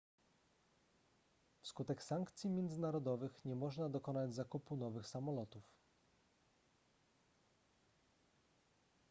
wskutek sankcji międzynarodowych nie można dokonać zakupu nowych samolotów